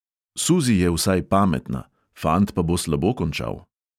Suzi je vsaj pametna, fant pa bo slabo končal.